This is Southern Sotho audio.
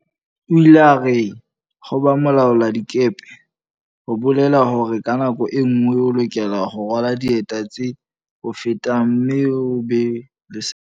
O ile a re, ho ba mo laoladikepe ho bolela hore ka nako e nngwe o lokela ho rwala dieta tse o fetang mme o be le sebete.